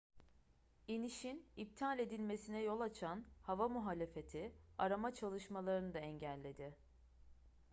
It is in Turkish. i̇nişin iptal edilmesine yol açan hava muhalefeti arama çalışmalarını da engelledi